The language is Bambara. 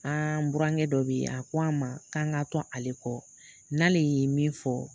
An burankɛ dɔ bɛ yen a ko an ma k'an ka to ale kɔ n'ale y'i min fɔ